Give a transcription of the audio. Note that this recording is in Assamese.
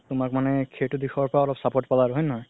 তুমাক মানে সেইটো দিশৰ পৰাও অলপ support পালা আৰু হয় নে নহয়